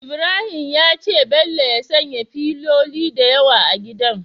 Ibrahim ya ce bello ya sanya filoli da yawa a gidan